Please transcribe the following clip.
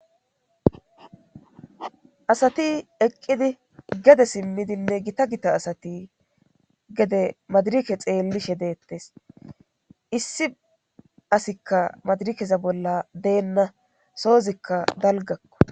Asati eqqidi gede simmidinne gita gita asati gede madrike xeellishe deettes issi asikka madirikeza bolla deenna soozikka dalgakko.